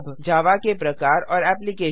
जावा के प्रकार और एप्लिकेशन्स